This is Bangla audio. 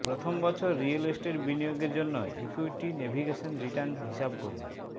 প্রথম বছর রিয়েল এস্টেট বিনিয়োগের জন্য ইক্যুইটি নেভিগেশন রিটার্ন হিসাব করুন